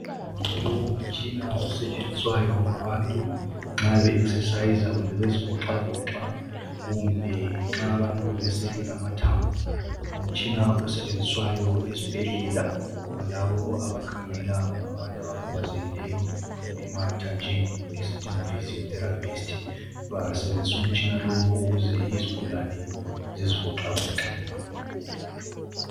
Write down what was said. Lowo ngumtshina osetshenziswayo ngabantu nxa be exerciser kumbe bezivoxavovoxa kumbe nxa abantu beselula amathambo. Ngumtshina osetshenziswayo ezibhedlela ngalabo abakhangela ngabantu abakhubazekileyo emathanjeni esithi ngophysio therapist..Basebenzisa umtshina lo ukuze izigulane zizivoxavoxe.